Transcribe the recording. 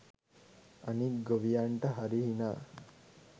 අනික් ගොවියන්ට හරි හිනා